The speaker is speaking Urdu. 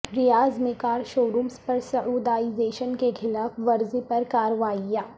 ریاض میں کارشورورمز پر سعودائزیشن کیخلاف ورزی پر کارروائیاں